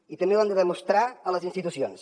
i també ho hem de demostrar a les institucions